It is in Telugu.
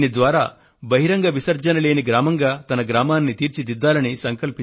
దీని ద్వారా బహిరంగ విసర్జన లేని గ్రామంగా తన గ్రామాన్ని తీర్చిదిద్దాలని ఆయన సంకల్పం